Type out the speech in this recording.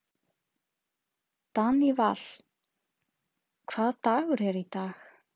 Daníval, hvaða dagur er í dag?